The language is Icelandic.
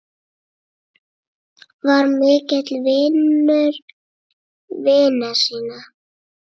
Var mikill vinur vina sína.